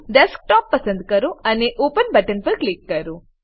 desktop પસંદ કરો અને ઓપન બટન પર ક્લિક કરો